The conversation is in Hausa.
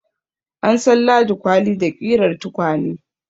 An san Ladi kwali da ƙirar tukwane.